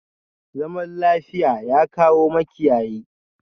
Zaman lafiya, ya kawo makiyayi?